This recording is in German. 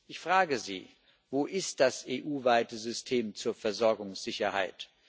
Ich frage Sie Wo ist das EU weite System zur Versorgungssicherheit?